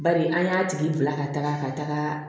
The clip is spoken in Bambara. Bari an y'a tigi bila ka taga ka taga